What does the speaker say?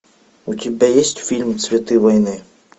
у тебя есть фильм цветы войны